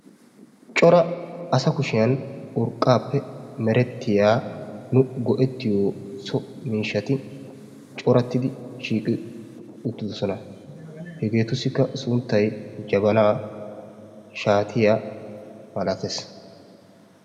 coora asa kuushiyaan urqqaappe merettiyaa nu go'ettiyoo so miishshatti coorattidi shiiqqidi uuttidosona. hegeetussikka sunttay jabaanaa, shaatiyaa malattees.